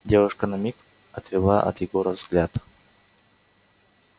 девушка на миг отвела от егора взгляд